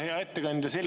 Hea ettekandja!